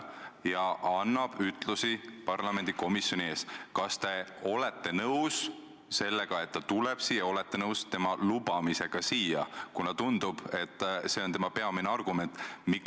Mulle tundub, et viimasel ajal on keemistemperatuur jõudnud tegelikult kõrgemale kui 100 kraadi – kui me vee võtame –, ma ei tea küll, kuidas see võimalik on, aga vähemalt tundub nii.